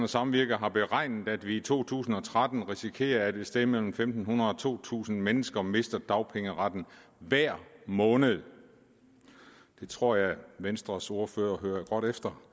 samvirke har beregnet at vi i to tusind og tretten risikerer at et sted mellem en tusind fem hundrede og to tusind mennesker mister dagpengeretten hver måned jeg tror at venstres ordfører hører godt efter